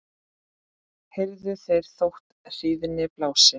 heyrðu þeir þótt hríðin blási